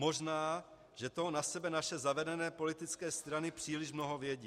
Možná že toho na sebe naše zavedené politické strany příliš mnoho vědí.